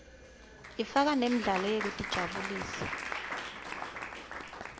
ifaka nemidlalo yekutijabulisa